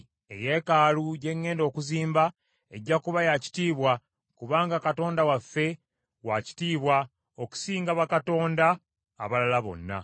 “Eyeekaalu gye ŋŋenda okuzimba ejja kuba yaakitiibwa, kubanga Katonda waffe waakitiibwa okusinga bakatonda abalala bonna.